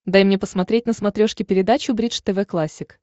дай мне посмотреть на смотрешке передачу бридж тв классик